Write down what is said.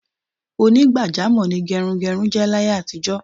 Onígbàjámò̩ ni ge̩runge̩run jé̩ láyé àtijó̩.